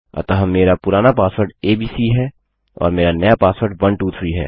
अतः मेरा पुराना पासवर्ड एबीसी है और मेरा नया पासवर्ड 123 है